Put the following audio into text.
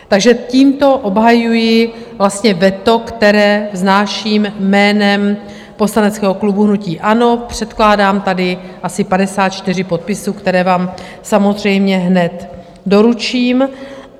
Takže tímto obhajuji vlastně veto, které vznáším jménem poslaneckého klubu hnutí ANO, předkládám tady asi 54 podpisů, které vám samozřejmě hned doručím.